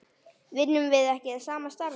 Vinnum við ekki sama starfið?